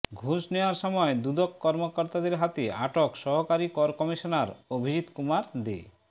ঘুষ নেয়ার সময় দুদক কর্মকর্তাদের হাতে আটক সহকারী কর কমিশনার অভিজিৎ কুমার দে